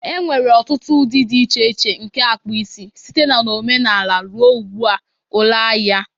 There nwere ọtụtụ ụdị dị iche iche nke akpụ isi, site na omenala ruo ugbu a. Ụlọ ahịa